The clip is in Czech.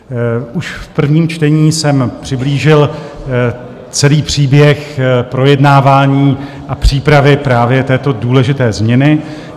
Už v prvním čtení jsem přiblížil celý příběh projednávání a přípravy právě této důležité změny.